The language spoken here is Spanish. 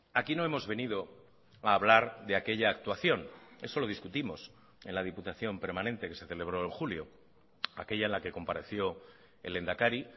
aquí no hemos venido a hablar de aquella actuación eso lo discutimos en la diputación permanente que se celebró en julio aquella en la que compareció el lehendakari